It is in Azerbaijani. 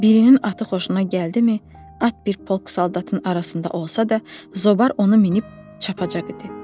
Birinin atı xoşuna gəldimi, at bir polk saldatın arasında olsa da, Zobar onu minib çapacag idi.